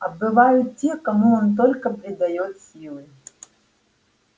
а бывают те кому он только придаёт силы